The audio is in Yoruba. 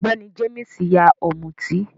Ọ̀gbẹ́ní Jéímìsì yá Ọ̀mútì